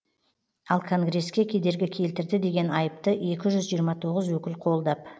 ал конгресске кедергі келтірді деген айыпты екі жүз жиырма тоғыз өкіл қолдап